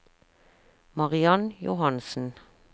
Mariann Johansen